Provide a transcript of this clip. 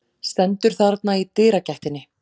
Stendur þarna í dyragættinni.